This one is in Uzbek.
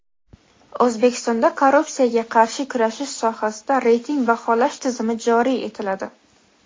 O‘zbekistonda korrupsiyaga qarshi kurashish sohasida reyting baholash tizimi joriy etiladi.